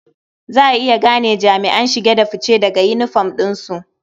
Za a iya gane jami'an shige da fice daga yinifom ɗinsu.